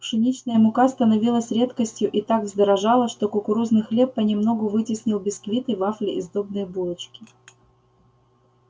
пшеничная мука становилась редкостью и так вздорожала что кукурузный хлеб понемногу вытеснил бисквиты вафли и сдобные булочки